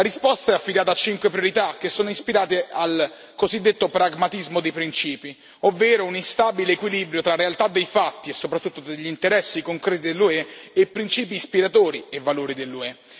La risposta è affidata a cinque priorità, che sono ispirate al cosiddetto pragmatismo dei principi, ovvero un instabile equilibrio tra realtà dei fatti, e soprattutto degli interessi concreti dell'UE, e principi ispiratori e valori dell'UE.